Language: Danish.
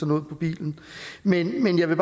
noget på bilen men jeg vil